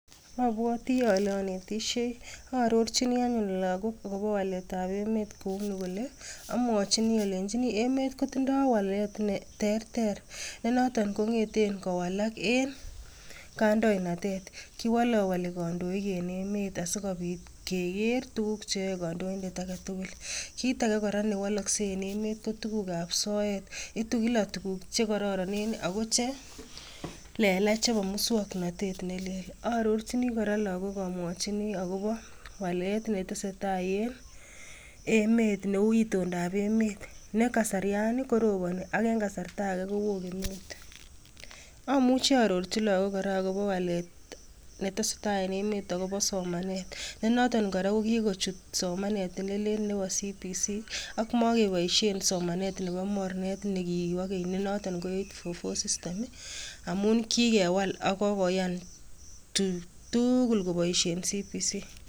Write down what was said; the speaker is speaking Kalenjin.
Abwoti ale anetishei , aarorchini anyun lakok akobo walet ap emet koi oleu, amwochini alenjin emet ko tindo walet ne terter ne noton kongeten kowalak enkandoinatet kiwalowoli kandoik en emet asikobit keker tuguk cheyoei kandoindet agetugul. Kit age kora newalakset en emet ko tuguk ap soet itu kila tuguk chekororonen ako chelelach chebo musongnotet nelel. Arrorchini kora lakok amwochini akopo walet netesetai en emet neu itondap emet nekasarian ko koroponi ama enkasarta ake koo kemeut amuchi aarorchi lakok kora akopo walet netesetai en emet akopo somanet ne noton kora ko kikochut somanet nelel nepo CBC ak makepoisie somanet nepo mornet nekipokenynenoton ko 844 system amun kikewal akokokoyan koboisie tugul chebo CBC